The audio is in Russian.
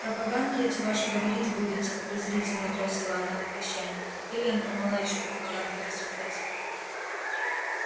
про поганки эти ваши говорить будете презрительно бросила она на прощание а ты ленка мала ещё про поганки рассуждать